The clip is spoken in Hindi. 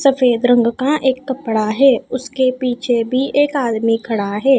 सफेद रंग का एक कपड़ा है उसके पीछे भी एक आदमी खड़ा है।